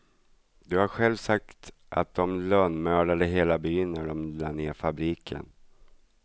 Du har själv sagt att dom lönnmördade hela byn när dom la ner fabriken.